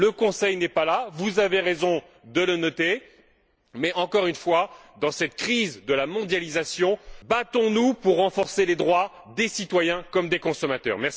Le Conseil n'est pas là vous avez raison de le noter mais, encore une fois, dans cette crise de la mondialisation, battons nous pour renforcer les droits des citoyens, comme ceux des consommateurs.